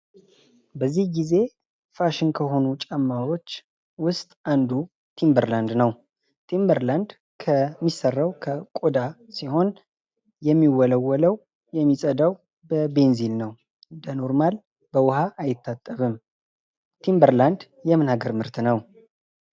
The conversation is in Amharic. በዚህ ጊዜ ፋሽን ከሆኑ ነገሮች ውስጥ አንዱ ቲምበር ላንድ ነው። ቲምብር ላንድ የሚሰራው ከቆዳ ሲሆን የሚወለወለው የሚጸዳው በቤንዚን ነው። ቲምበር በዉሃ አይታጠብም። ቲምበር ላንድ የምን ሀገር ምርት ነው?